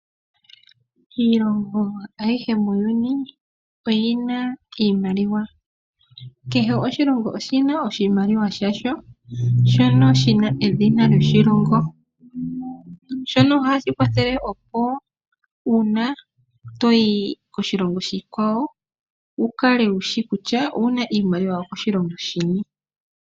Iilongo ayihe muuyuni oyina iimaliwa. Kehe oshilongo oshina oshimaliwa shasho shono shina edhina lyoshilongo. Shono ohashi kwathele opo uuna toyi koshilongo oshikwawo wu kale wushi kutya owuna iimaliwa yokoshilongo shini.